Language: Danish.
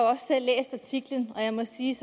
også selv læst artiklen og jeg må sige